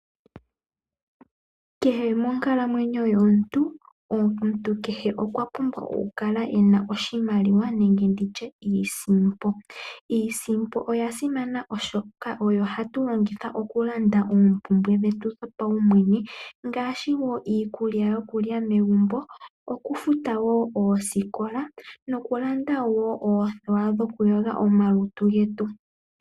Kehe monkalamwenyo yomuntu, omuntu kehe okwapumbwa okukala ena oshimaliwa nenge nditye iisimpo. Iisimpo oya simana oshoka oyo hatu longitha okulanda oompumbwe dhetu dhopaumwene, ngaashi iikulya yokulya megumbo, okufuta ooskola nokulanda oothewa dhokuyoga omalutu getu.